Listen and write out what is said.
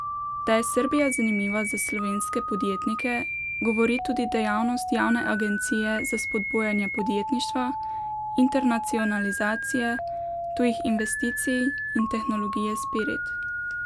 Da je Srbija zanimiva za slovenske podjetnike, govori tudi dejavnost javne agencije za spodbujanje podjetništva, internacionalizacije, tujih investicij in tehnologije Spirit.